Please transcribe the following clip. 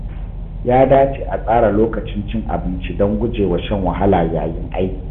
Ya dace a tsara lokacin cin abinci don gujewa shan wahala yayin aiki.